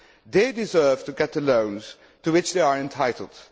They deserve to get the loans to which they are entitled.